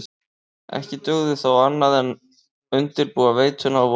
Ekki dugði þó annað en undirbúa veituna og vona hið besta.